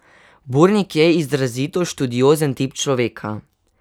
Burnik je izrazito študiozen tip človeka.